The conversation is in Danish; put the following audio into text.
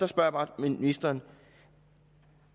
spørger bare ministeren